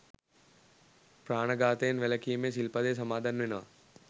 ප්‍රාණඝාතයෙන් වැළකීමේ සිල්පදය සමාදන් වෙනවා.